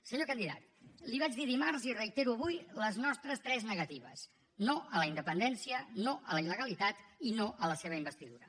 senyor candidat li ho vaig dir dimarts i reitero avui les nostres tres negatives no a la independència no a la il·legalitat i no a la seva investidura